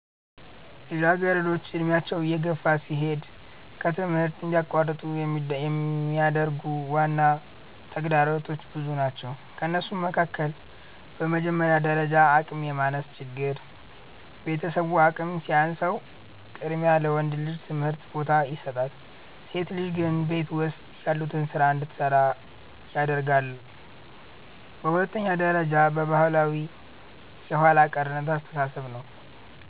ልጃገረዶች ዕድሜያቸው እየገፋ ሲሄድ ከትምህርት እንዲቋረጡ የሚያደርጉ ዋና ተግዳሮቶች ብዙ ናቸው ከእነሱም መካከል፦ በመጀመሪያ ደረጃ አቅም የማነስ ችግር፤ ቤተሰቡ አቅም ሲያንሰው ቅድሚያ ለወንድ ልጅ ትምህርት ቦታ ይሰጣል፣ ሴት ልጆች ግን ቤት ውስጥ ያሉትን ስራ እንድትሰራ ያደርጋለየ። በሁለተኛ ደረጃ ባህላዊ የኋላ ቀርነት አስተሳሰብ ነው፤